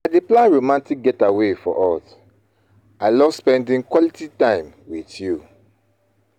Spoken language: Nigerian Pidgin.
I dey plan romantic getaway for us; I love spending quality time with you.